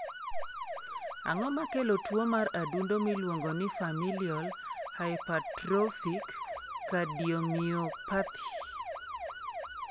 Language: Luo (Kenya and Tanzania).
Ang'o makelo tuwo mar adundo miluongo ni familial hypertrophic cardiomyopathy?